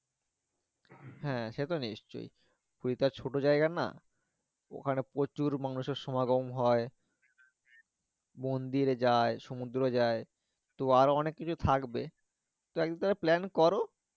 হ্যাঁ সে তো নিশ্চই পুরি তো আর ছোট জায়গা না ওখানে প্রচুর মানুষের সমাগম হয় মন্দিরে যায় সমুদ্রে যায় তো আরো অনেক কিছু থাকবে তো এক দিন plan করো